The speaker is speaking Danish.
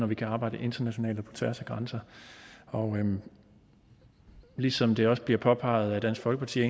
vi kan arbejde internationalt og på tværs af grænser og ligesom det også bliver påpeget af dansk folkeparti